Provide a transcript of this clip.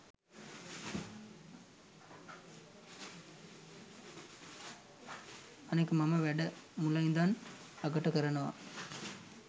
අනික මම වැඩ මුල ඉඳන් අගට කරනවා